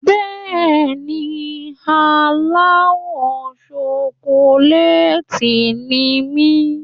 Bẹ́ẹ̀ni, aláwọ̀ ṣokolééètì ni mí.